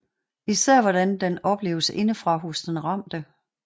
Især hvordan den opleves indefra hos den ramte